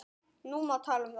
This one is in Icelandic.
Nú má tala um þá.